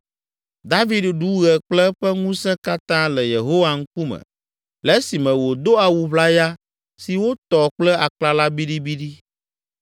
David ɖu ɣe kple eƒe ŋusẽ katã le Yehowa ŋkume le esime wòdo awu ʋlaya si wotɔ kple aklala biɖibiɖi.